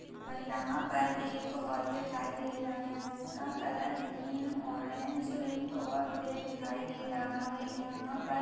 यहा पर एक हॉल दिखाई दे रहा है जिसका कलर ग्रीन ऑरेंज पिंक और ग्रे दिखाई दे रहा है यहा पर --